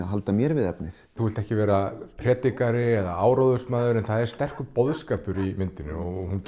halda mér við efnið þú vilt ekki vera predikari eða áróðursmaður en það er sterkur boðskapur í myndinni hún